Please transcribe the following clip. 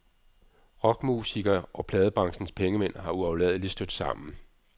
Rockmusikere og pladebranchens pengemænd har uafladeligt stødt sammen.